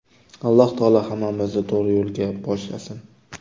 Alloh taolo hammamizni to‘g‘ri yo‘lga boshlasin!”